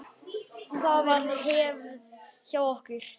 Það var hefð hjá okkur.